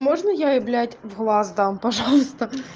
можно я блять в глаз дам пожалуйста